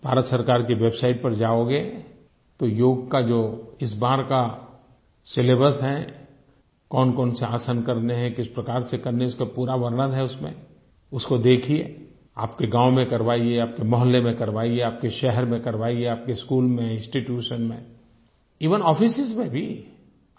आप भारत सरकार की वेबसाइट पर जाओगे तो योग का जो इस बार का सिलेबस है कौनकौन से आसन करने हैं किस प्रकार से करने हैं इसका पूरा वर्णन है उसमें उसको देखिये आपके गाँव में करवाइए आपके मोहल्ले में करवाइए आपके शहर में करवाइए आपके स्कूल में इंस्टीट्यूशन में एवेन आफिसों में भी